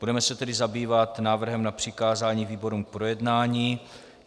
Budeme se tedy zabývat návrhem na přikázání výborům k projednání.